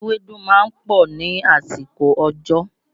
Ewédú máa ń pọ̀ ní àsìkò òjò